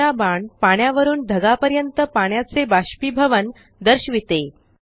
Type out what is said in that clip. तिसरा बाण पाण्यावरून ढगापर्यंत पाण्याचे बाष्पीभवन दर्शविते